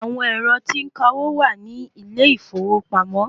Àwọn ẹ̀rọ tí ó ń ka owó wà ní ilé ìfowópamọ́.